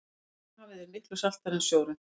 dauðahafið er miklu saltara en sjórinn